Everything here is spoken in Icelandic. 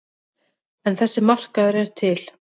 En þessi markaður er til.